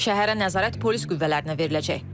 Şəhərə nəzarət polis qüvvələrinə veriləcək.